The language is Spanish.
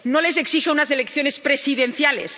no les exige unas elecciones presidenciales.